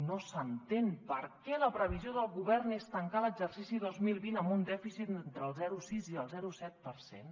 no s’entén per què la previsió del govern és tancar l’exercici dos mil vint amb un dèficit entre el zero coma sis i el zero coma set per cent